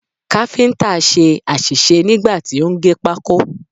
Káfíǹtà ṣe àṣìṣe nígbà tí ó ń gé pákó.